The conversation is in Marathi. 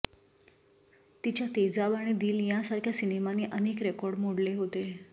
तिच्या तेजाब आणि दिल यांसारख्या सिनेमांनी अनेक रेकॉर्ड मोडले होते